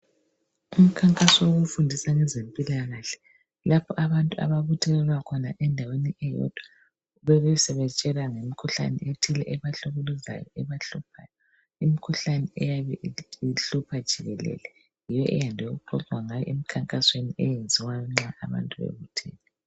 Umkhankaso wokufundisa ngezempilakahle lapho abantu ababuthelelwa khona endaweni eyodwa bebesebetshelwa ngemikhuhlane ethile ebahlukuluzayo ebahluphayo imikhuhlane eyabe ihlupha jikelele yiyo eyande ukuxoxwa ngayo emkhankasweni eyenziwa nxa abantu bebuthene.